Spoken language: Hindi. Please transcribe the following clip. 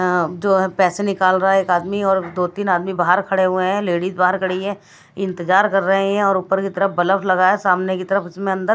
जो है पैसे निकाल रहा है एक आदमी और दो-तीन आदमी बाहर खड़े हुए हैं लेडीज बाहर खड़ी हैइंतजार कर रहे हैं और ऊपर की तरफ बलफ लगा हैसामने की तरफ उसमें अंदर--